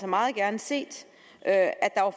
meget gerne set at at der var